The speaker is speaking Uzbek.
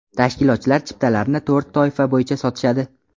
Tashkilotchilar chiptalarni to‘rt toifa bo‘yicha sotishadi.